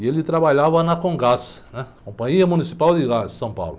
E ele trabalhava na.